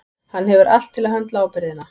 Hann hefur allt til að höndla ábyrgðina.